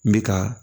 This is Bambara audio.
N bɛ ka